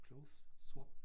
Clothes swap